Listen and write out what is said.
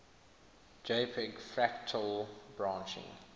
jpg fractal branching